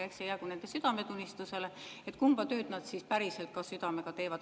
Eks see jäägu nende südametunnistusele, kumba tööd nad päriselt südamega teevad.